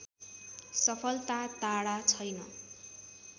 सफलता टाढा छैन